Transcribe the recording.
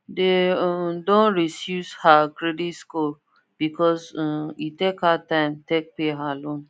they um don resuce her credit score because um he take her time take pay her loan